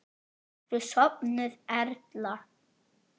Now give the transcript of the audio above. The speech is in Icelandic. Ertu sofnuð, Erla?